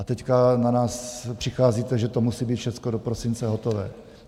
A teď na nás přicházíte, že to musí být všecko do prosince hotové.